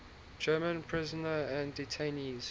german prisoners and detainees